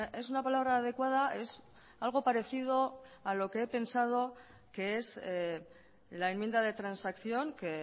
es una palabra adecuada es algo parecido a lo que he pensado que es la enmienda de transacción que